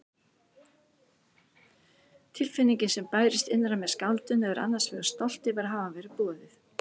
Tilfinningin sem bærist innra með skáldinu er annars vegar stolt yfir að hafa verið boðið.